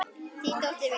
Þín dóttir, Vigdís.